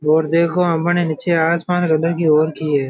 और आपणे नीचे आसमान कलर की हो रखी है।